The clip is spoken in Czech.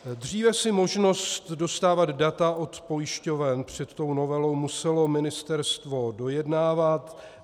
Dříve si možnost dostávat data od pojišťoven před tou novelou muselo ministerstvo dojednávat.